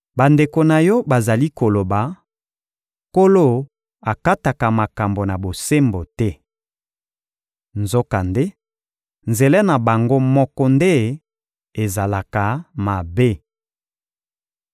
Bandeko na yo bazali koloba: ‹Nkolo akataka makambo na bosembo te.› Nzokande, nzela na bango moko nde ezalaka mabe.